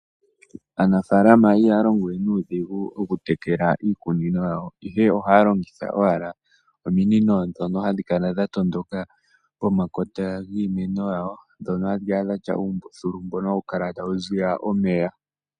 Aanafalama ihaya longowe nuudhigu okutekela iikunino yawo ihe ohya longitha ominino ndhono dha tondoka pomakota giimeno yawo hadhi dhatya umbuthulu mbono hawu kala tawu ziya omeya.